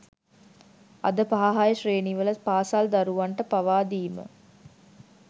අද පහ හය ශ්‍රේණිවල පාසල් දරුවන්ට පවා දීම